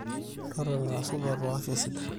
totona ira supat oo afya sidai